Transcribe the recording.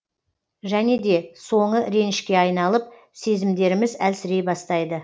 және де соңы ренішке айналып сезімдеріміз әлсірей бастайды